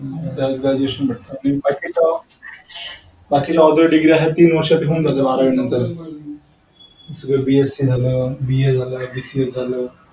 बाकीचं! बाकी जे normal degree आहे तीन वर्ष होऊन जात ते बारावी नंतर BSc झालं BA झालं BCS झालं.